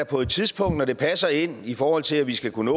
på et tidspunkt når det passer ind i forhold til at vi skal kunne